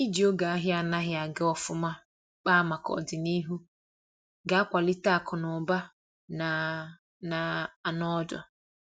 iji oge ahia anaghi aga ofuma kpaa maka ọdịnihu ga akwalite akụ na ụba na na anọ ọdụ